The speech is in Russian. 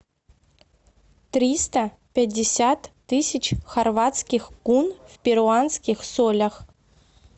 триста пятьдесят тысяч хорватских кун в перуанских солях